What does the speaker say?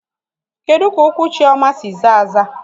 Kedu ka ụkwụ Chioma si zaa aza?